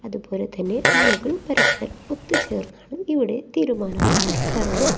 അതുപോലെ തന്നെ ആളുകൾ പരസ്പരം ഒത്തുചേർന്നാണ് ഇവിടെ തീരുമാനങ്ങൾ എടുക്കാറുള്ളത്.